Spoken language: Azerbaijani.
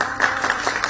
Bravo!